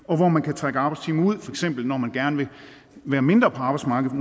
og hvor man kan trække arbejdstimer ud når man gerne vil være mindre på arbejdsmarkedet